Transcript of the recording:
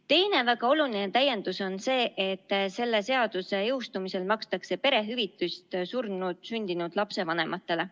Teine väga oluline täiendus on see, et selle seaduse jõustumise korral makstakse perehüvitist surnult sündinud lapse vanematele.